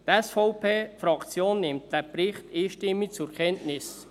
Die SVP-Fraktion nimmt den Bericht einstimmig zur Kenntnis.